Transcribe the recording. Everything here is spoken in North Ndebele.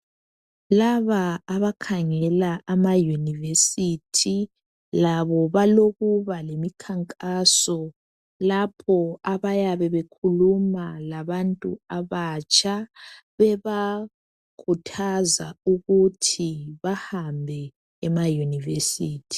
Laba abakhangela ama yunivesithi labo balokuba lemikhankaso lapho abayabe bekhuluma labantu abatsha bebakhuthaza ukuthi bahambe emayunivesithi